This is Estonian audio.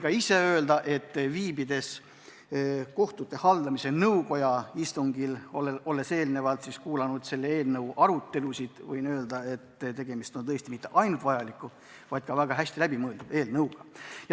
Ma võin öelda, et olnud viibinud kohtute haldamise nõukoja istungil ja kuulanud muidki eelnõu arutelusid, olen kindel, et tegemist on tõesti mitte ainult vajaliku, vaid ka väga hästi läbi mõeldud eelnõuga.